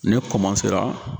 Ne